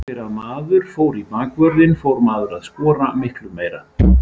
Eftir að maður fór í bakvörðinn fór maður að skora miklu meira.